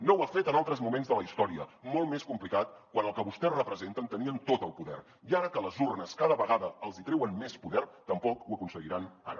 no ho ha fet en altres moments de la història molt més complicats quan el que vostès representen tenien tot el poder i ara que les urnes cada vegada els hi treuen més poder tampoc ho aconseguiran ara